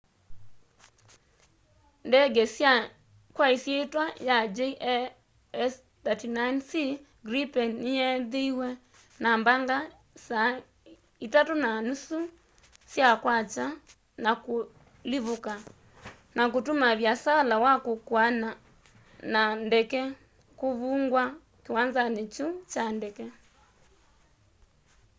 ndege kwa ĩsyĩtwa ya jas 39c gripen nĩyeethĩiwe na mbaga saa 9.30 sya kwakya 0230 utc na kũlivũka na kũtũma vĩasala wa kũkuana na ndege kũvũngwa kĩwanzanĩ kyũ kya ndege